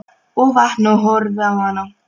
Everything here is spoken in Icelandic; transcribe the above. Og vakna og horfi á hana.